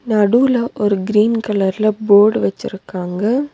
நடுவுல ஒரு கிரீன் கலர்ல போர்டு வச்சிருக்காங்க.